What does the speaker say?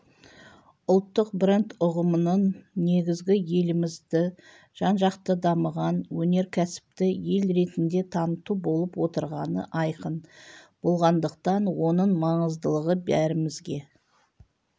ұлттық бренд ұғымының негізі елімізді жан-жақты дамыған өнеркәсіпті ел ретінде таныту болып отырғаны айқын болғандықтан оның маңыздылығы бәрімізге